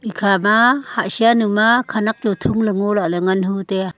ikha ma hatshanu ma khenek chu thong le ngo lah ngo lah ngan hu tai a.